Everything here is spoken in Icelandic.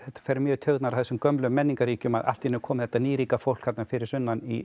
fer mjög í taugarnar á þessum gömlu menningarríkjum að allt í einu er komið þetta nýríka fólk þarna fyrir sunnan í